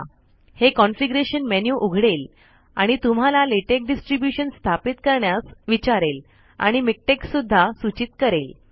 हे configuration menu उघडेल आणि तुम्हाला लेटेक डिस्ट्रिब्युशन स्थापित करण्यास विचारेल आणि मिक्टेक सुद्धा सुचित करेल